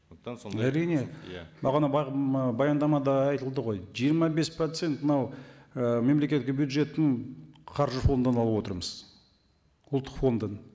әрине бағана баяндамада айтылды ғой жиырма бес процент мынау і мемлекеттік бюджеттің қаржы фондынан алып отырмыз ұлттық фондтан